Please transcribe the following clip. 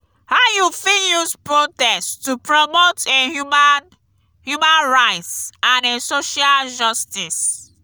how you fit use protest to promote a human human rights and a social justice?